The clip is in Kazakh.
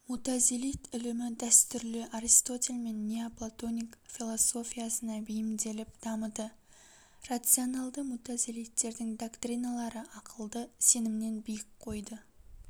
мутазилит ілімі дәстүрлі аристотель мен неоплатоник философиясына бейімделіп дамыды рационалды мутазалиттердің доктриналары ақылды сенімнен биік қойды